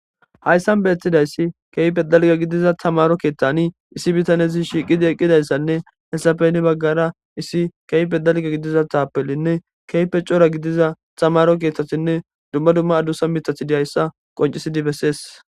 Hayssan beetidayssi keype dalga gidiza tamaro keeththani issi bitanezi shiqidi eqqidayssanne hessapeni baggara issi keype dalga gidiza taapelinne keype cora gidiza xamaro keeththathinne dumma dumma adusa mitathi diyayssa qoncisidi bessees.